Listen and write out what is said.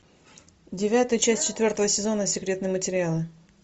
девятая часть четвертого сезона секретные материалы